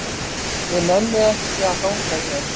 Ég nenni ekki að hanga hér.